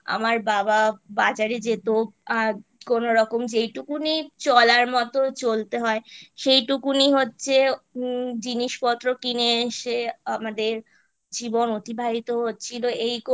আমার বাবা বাজারে যেত আ কোনোরকম যেটুকুনি চলার মতো চলতে হয় সেইটুকুনি হচ্ছে জিনিসপত্র কিনে এসে আমাদের জীবন অতিবাহিত হচ্ছিলো এই করে